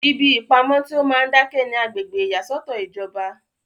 ibi ìpamọ tí ó máa ń dákẹ́ ni agbègbè ìyàsọ́tọ̀ ìjọba